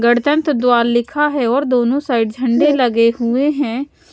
गणतंत्र द्वार लिखा है और दोनों साइड झंडे लगे हुए हैं।